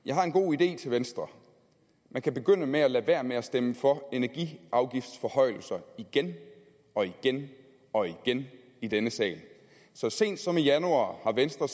jeg har en god idé til venstre man kan begynde med at lade være med at stemme for energiafgiftsforhøjelser igen og igen og igen i denne sag så sent som i januar har venstre